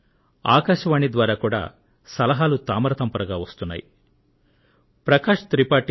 ఆకాశవాణి ద్వారా కూడా సలహాలు తామరతంపరగా వచ్చిపడుతున్నాయి